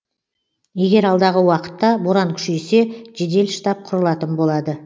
егер алдағы уақытта боран күшейсе жедел штаб құрылатын болады